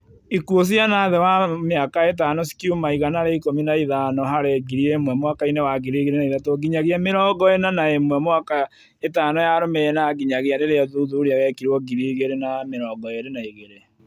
Ikuũ ciana thĩ wa mĩaka ĩtano cikiuma 115 harĩ ngiri ĩmwe mwaka inĩ wa 2003 nginyagia mĩrongo ĩna na ĩmwe mĩaka ĩtano yarũmĩrĩire na nginyagia rĩrĩa ũthuthuria wekirũo 2022